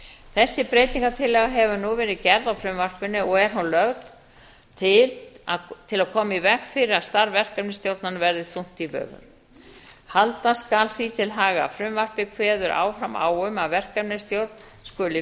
þessi breytingartillaga hefur nú verið gerð á frumvarpinu og er hún lögð til til að koma í veg fyrir að starf verkefnisstjórnarinnar verði þungt í vöfum halda skal því til haga að frumvarpið kveður áfram á um að verkefnisstjórn skuli